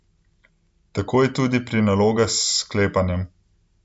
Tako je tudi pri nalogah s sklepanjem.